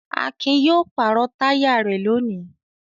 Akin yóò pàrọ̀ táyà rẹ̀ lónìí.